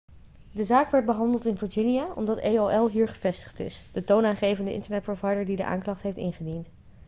de zaak werd behandeld in virginia omdat aol hier gevestigd is de toonaangevende internetprovider die de aanklacht heeft ingediend